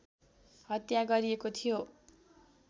हत्या गरिएको थियो